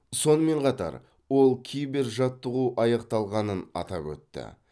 сонымен қатар ол кибержаттығу аяқталғанын атап өтті